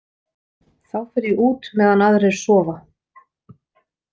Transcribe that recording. Þá fer ég út meðan aðrir sofa.